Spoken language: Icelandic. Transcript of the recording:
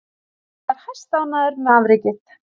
Hann var hæstánægður með afrekið.